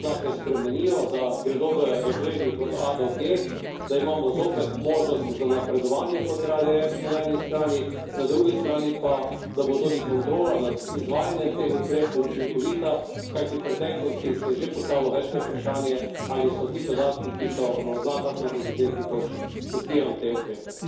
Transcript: Zato podpiram, da se te oznake spremenijo, da gredo v razredih od A do G, da imamo zopet možnosti za napredovanje, kot radi rečemo, na eni strani, na drugi strani pa, da bo tudi kontrola nad izvajanem teh ukrepov učinkovita, kajti v preteklosti se je že postavilo večkrat vprašanje, ali so ti podatki, ki so na oznakah na teh izdelkih, točni.